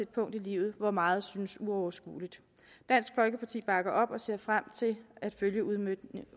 punkt i livet hvor meget synes uoverskueligt dansk folkeparti bakker op og ser frem til at følge udmøntningen